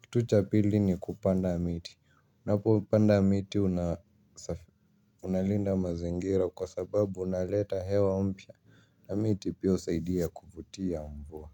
kitu cha pili ni kupanda miti. Unapopanda miti unalinda mazingira kwa sababu unaleta hewa mpya na miti piahusadia kufutia mvua.